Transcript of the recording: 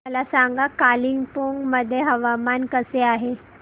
मला सांगा कालिंपोंग मध्ये हवामान कसे आहे